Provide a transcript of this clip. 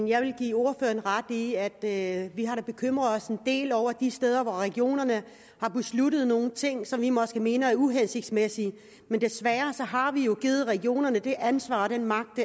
jeg vil give ordføreren ret i at vi da har bekymret os en del over de steder hvor regionerne har besluttet nogle ting som vi måske mener er uhensigtsmæssige men desværre har vi jo givet regionerne det ansvar og den magt